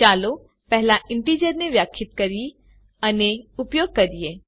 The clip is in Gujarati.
ચાલો પહેલા ઈન્ટીજરને વ્યાખ્યાયિત કરીએ અને ઉપયોગ કરીએ